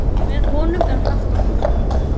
Með honum er haft púrtvín.